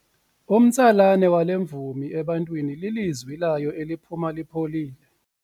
Umtsalane wale mvumi ebantwini lilizwi layo eliphuma lipholile.